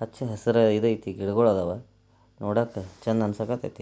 ಹಚ್ಚ ಹೆಸಿರ ಈದ್ ಐತಿ ಗಿಡಂಗೊಳ್ ಅದಾವ ನೋಡಾಕ ಚಂದ ಅಂಸಾಕತೇತಿ.